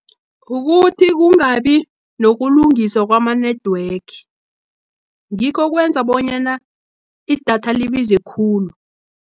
Kukuthi kungabi nokulungiswa, kwama-network, ngikho okwenza bonyana idatha libize khulu.